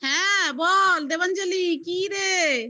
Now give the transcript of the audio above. হ্যাঁ বল দেবাঞ্জলি কি রে.